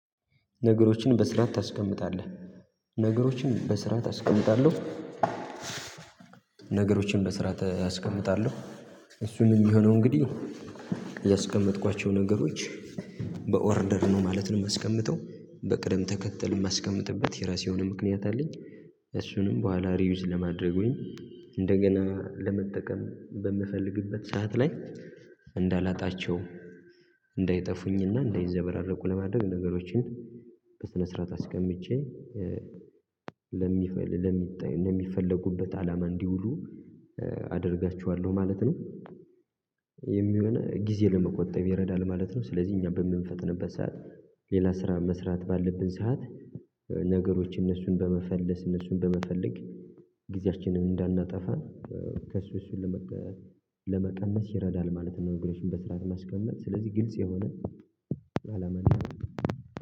ነገሮችን በስራ ታስቀምጣለህ ነገሮችን በስራ ታስቀምጣለህ? ነገሮችን በስራ አስቀምጣለሁ። እሱን የሚሆነው እንግዲህ ያስቀመጥኳቸው ነገሮች በኦርደር ነው ማለት ነው የማስቀምጠው በቅድም ተከተል የማስቀምጥበት የራሴ ምክንያት አለኝ። እሱንም በኋላ ሪዩዝ ለማድረጉኝ እንደገና ለመጠቀም በምፈልግበት ሰዓት ላይ እንዳላጣቸው እንዳይጠፉኝና እንዳይዘበራረቁ ለማድረግ ነገሮችን በስነ ስርዓት አስቀምጬ ለሚፈል ለሚፈለጉበት አላማ እንዲውሉ አደርጋችኋለሁ ማለት ነው። የሚሆነው ጊዜ ለመቆጠብ ይረዳል ማለት ነው። ስለዚህ እኛ በምንፈትንበት ሰዓት ሌላ ስራ መስራት ባለብን ሰዓት ነገሮች እነሱን በመፈለስ እነሱን በመፈለግ ጊዜያችንን እንዳናጠፋ ከሱ እሱን ለመቀነስ ይረዳል ማለት ነው። እንግዲህ በስራት ማስቀመጥ ስለዚህ ግልጽ የሆነ አላመናም